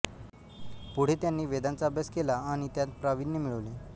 पुढे त्यांनी वेदांचा अभ्यास केला आणि त्यांत प्रावीण्य मिळवले